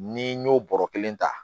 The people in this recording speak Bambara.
Ni n y'o bɔrɔ kelen ta